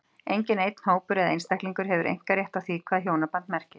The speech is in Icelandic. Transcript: Enginn einn hópur eða einstaklingur hefur einkarétt á því hvað hjónaband merkir.